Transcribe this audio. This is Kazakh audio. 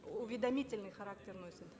уведомительный характер носит